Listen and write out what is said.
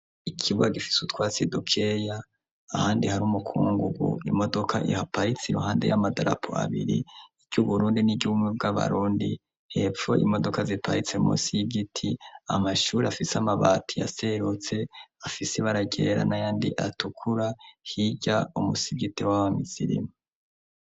Ikibwa gifise utwa si dukeya ahandi hari umukungugu imodoka ihaparitse iruhande y'amadarapu abiri iryo uburundi n'iryubumi bw'abarundi hepfo imodoka ziparitse mu nsii y'igiti amashuri afise amabati yaserutse afise baragerera na yandi atukura hirya umusigiti w'aba misiria.